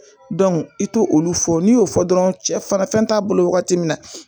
i t'o olu fɔ n'i y'o fɔ dɔrɔn cɛ fara fɛn t'a bolo wagati min na